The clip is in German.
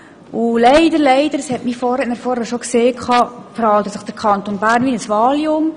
Aber leider, leider – das hat mein Vorredner bereits angetönt – verhält sich der Kanton Bern wie Valium.